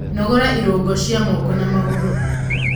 Nogora irungo cia moko na maguru